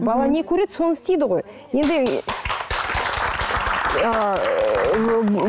бала не көреді соны істейді ғой енді ыыы